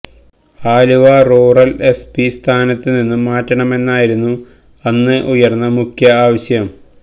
Aluva rural SP സ്ഥാനത്തു നിന്നും മാറ്റണമെന്നായിരുന്നു അന്ന് ഉയര്ന്ന മുഖ്യ ആവശ്യം